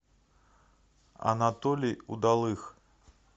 анатолий удалых